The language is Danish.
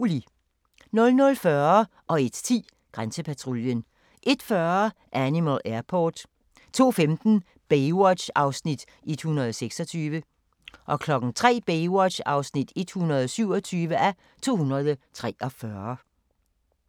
00:40: Grænsepatruljen 01:10: Grænsepatruljen 01:40: Animal Airport 02:15: Baywatch (126:243) 03:00: Baywatch (127:243)